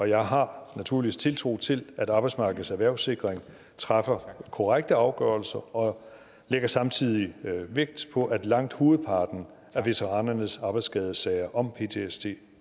jeg har naturligvis tiltro til at arbejdsmarkedets erhvervssikring træffer korrekte afgørelser og jeg lægger samtidig vægt på at langt hovedparten af veteranernes arbejdsskadesager om ptsd